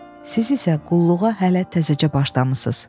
Siz isə qulluğa hələ təzəcə başlamısınız.